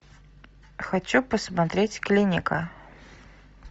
хочу посмотреть клиника